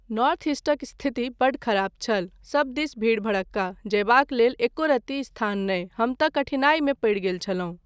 North ईस्टक स्थिति बड्ड खराब छल, सब दिस भीड़ भड़क्का, जयबाक लेल एको रत्ती स्थान नहि, हम तँ कठिनाइमे पड़ि गेल छलहुँ।